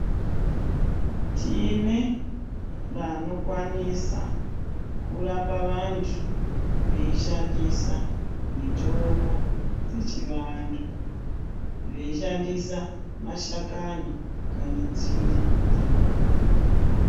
Tine vanokwanisa kurapa vantu veishandisa mitombo yechivantu veishandisa mashakani kana nzinde dzakona .